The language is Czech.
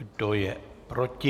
Kdo je proti?